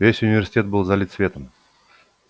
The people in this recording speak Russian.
весь университет был залит светом